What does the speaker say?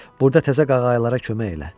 Burda təzə qağayılara kömək elə.